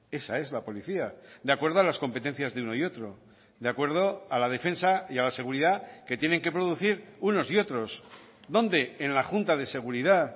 esa es la policía de acuerdo a las competencias de uno y otro de acuerdo a la defensa y a la seguridad que tienen que producir unos y otros dónde en la junta de seguridad